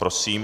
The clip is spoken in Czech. Prosím.